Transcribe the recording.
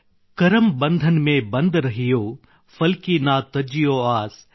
ಕರಮ್ ಬಂಧನ್ ಮೆ ಬಂಧ ರಹಿಯೊ ಫಲ್ ಕಿ ನಾ ತಜ್ಜಿಯೋ ಆಸ್